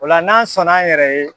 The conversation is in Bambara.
O la n'an sɔnn'an yɛrɛ ye